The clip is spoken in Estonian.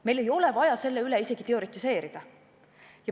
Meil ei ole vaja selle üle isegi teoretiseerida.